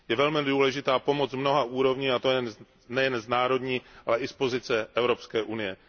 Je velmi důležitá pomoc z mnoha úrovní, a to nejen z národní, ale i z pozice Evropské Unie.